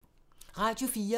Radio 4